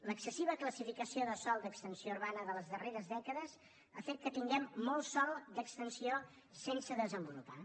l’excessiva classificació de sòl d’extensió urbana de les darreres dècades ha fet que tinguem molt sòl d’extensió sense desenvolupar